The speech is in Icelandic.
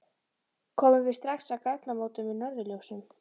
Komum við strax að gatnamótum með norðurljósum